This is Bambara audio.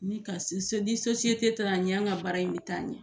Ni ka ni taara ɲɛ an ka baara in bɛ taa ɲɛ